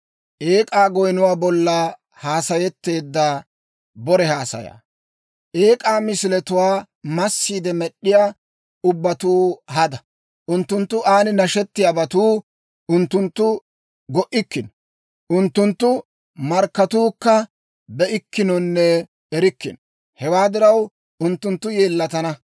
Eek'aa misiletuwaa massiide med'd'iyaa ubbatuu hada; unttunttu aan nashettiyaabatuu unttuntta go'ikkino. Unttunttu markkatuukka be'ikkinonne erikkino. Hewaa diraw, unttunttu yeellatana.